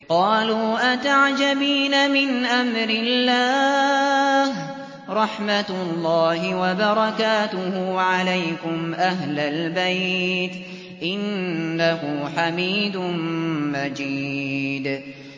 قَالُوا أَتَعْجَبِينَ مِنْ أَمْرِ اللَّهِ ۖ رَحْمَتُ اللَّهِ وَبَرَكَاتُهُ عَلَيْكُمْ أَهْلَ الْبَيْتِ ۚ إِنَّهُ حَمِيدٌ مَّجِيدٌ